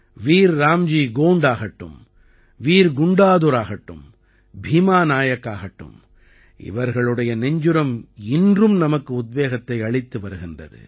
வீர் ராம்ஜி கோண்ட் ஆகட்டும் வீர் குண்டாதுர் ஆகட்டும் பீமா நாயக் ஆகட்டும் இவர்களுடைய நெஞ்சுரம் இன்றும் நமக்கு உத்வேகத்தை அளித்து வருகின்றது